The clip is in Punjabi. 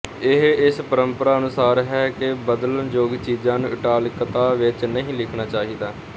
ਇਹ ਇਸ ਪ੍ਰੰਪਰਾ ਅਨੁਸਾਰ ਹੈ ਕਿ ਬਦਲਣਯੋਗ ਚੀਜ਼ਾਂ ਨੂੰ ਇਟਾਲਿਕਤਾ ਵਿੱਚ ਨਹੀਂ ਲਿਖਣਾ ਚਾਹੀਦਾ